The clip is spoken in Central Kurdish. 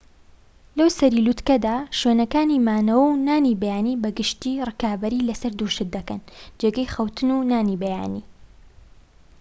لەوسەری لوتکەدا شوێنەکانی مانەوە و نانی بەیانی بە گشتیی ڕکابەری لەسەر دوو شت دەکەن جێگەی خەوتن و نانی بەیانی